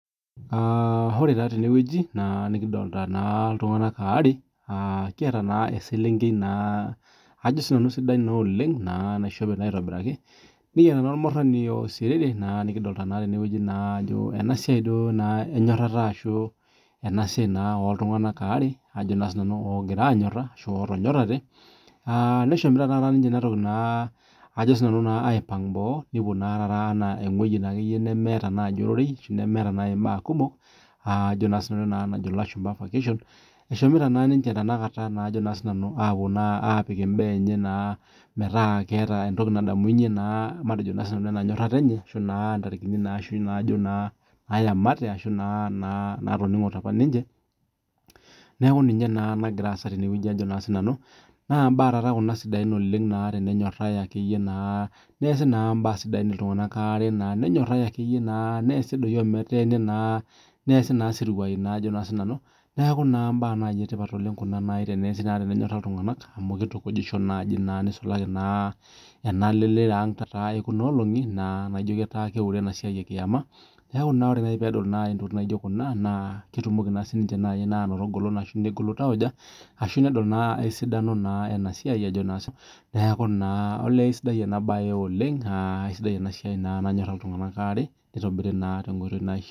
ore naa tenewueji nadoolta naa iltunganak waawe eselenkei naishope aitobiraki ormurani oisisriri najo naa enasiai naa oltunganak ootonyorate ashu oogira aanyora nadol naa ajo eshomoito ewueji naa nemetii ororei nemetii iltunganak , eshomoito naa aapik imbaa enye enkoitoi meeta keeta entoki nadamunye enyotrata enye idipa apa aayamata Naa imbaa naa taaata kuna sidaina teneesi peenyota iltunganak waare nenyore doi neesi naa isiruai naaku naa imbaa sidain kuna. Nisulaki naa tekuna kera ekuna olongi naawure enkiaama amuu kidim aanoto engolon negolu iltauja arashu eyiolou esidano ena siai naa tenenyora iltunganak waare